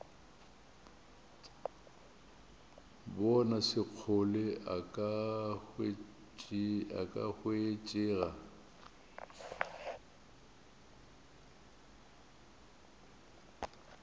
bona sekgole a ka hwetšega